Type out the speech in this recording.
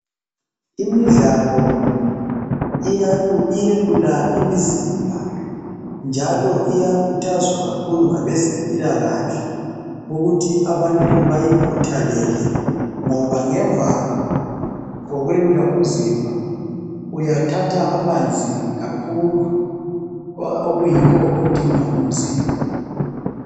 Imidlalo iyelula imizimba njalo iyakhuthazwa kakhulu ngabazempilakahle ukuthi abantu bayikhuthalele ngoba ngemva kokwelula umzimba uyathatha amanzi kakhulu okuyikho okudingwa ngumzimba